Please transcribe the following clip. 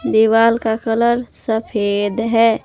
दीवाल का कलर सफेद है।